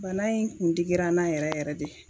Bana in kun digira n n'a yɛrɛ yɛrɛ de